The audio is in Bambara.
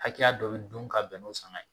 Hakɛya dɔ bi dun ka bɛn n'o sanga ye